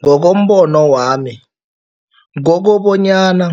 Ngokombono wami, kokobanyana